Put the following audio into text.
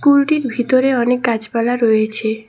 স্কুলটির ভিতরে অনেক গাছপালা রয়েছে।